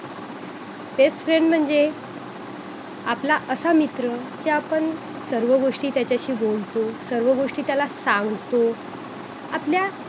best friend म्हणजे आपला असा मित्र कि आपण सर्व गोष्टी त्याच्याशी बोलतो सर्व गोष्टी त्याला सांगतो आपल्या